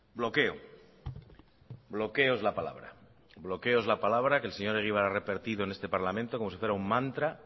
bloqueo bloqueo es la palabra bloqueo es la palabra que el señor egibar ha repetido en este parlamento como si fuera un mantra